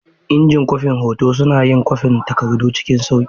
Injin kwafin hoto suna yin kwafin takardu cikin sauƙi.